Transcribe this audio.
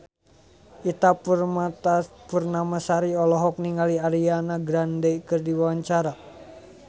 Ita Purnamasari olohok ningali Ariana Grande keur diwawancara